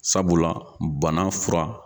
Sabula bana fura